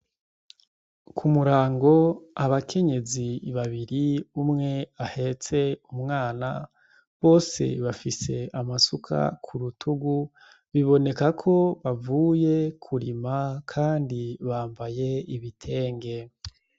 Ku murango abakenyezi babiri umwe ahetse umwana, bose bafise amasuka ku rutugu biboneka ko bavuye kurima kandi bambaye ibitenge.